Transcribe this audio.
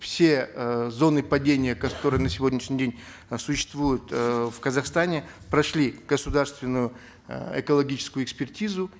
все эээ зоны падения которые на сегодняшний день э сущетсвуют эээ в казахстане прошли государственную э экологическую экспертизу